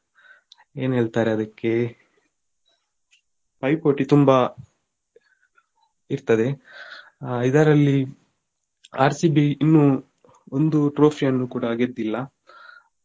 ಏನು ಹೇಳ್ತಾರೆ ಅದಕ್ಕೆ ಪೈಪೋಟಿ ತುಂಬಾ ಇರ್ತದೆ ಆ ಇದರಲ್ಲಿ RCB ಇನ್ನು ಒಂದು trophy ಯನ್ನು ಕೂಡ ಗೆದ್ದಿಲ್ಲ.